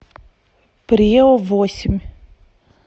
преовосемь